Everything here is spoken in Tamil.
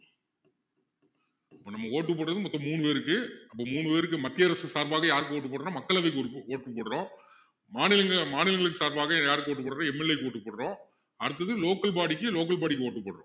இப்போ நம்ம vote போட்டது மொத்தம் மூணு பேருக்கு அப்போ மூணு பேருக்கு மத்திய அரசு சார்பாக யாருக்கு vote போடுறோம் மக்களவைக்கு vote போடுறோம் மாநிலங்~மாநிலங்களுக்கு சார்பாக யாருக்கு vote போடுறோம் MLA க்கு vote போடுறோம் அடுத்தது local body க்கு local body க்கு vote போடுறோம்